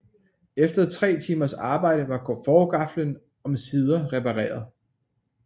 Efter tre timers arbejde var forgaflen omsider reperaret